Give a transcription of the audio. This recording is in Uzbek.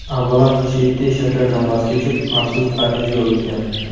Avvalo, Shetti shakardan voz kechib, maxsus parhezga o‘tgan.